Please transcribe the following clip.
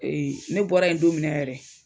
ne bɔra yen don min na yɛrɛ